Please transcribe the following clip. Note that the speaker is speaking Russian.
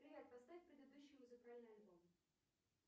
привет поставь предыдущий музыкальный альбом